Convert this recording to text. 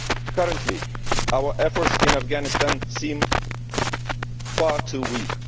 Currently, our efforts in Afghanistan seem far too weak.